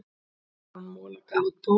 Aron Mola gaf út bók